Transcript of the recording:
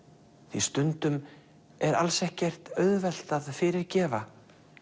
því stundum er alls ekkert auðvelt að fyrirgefa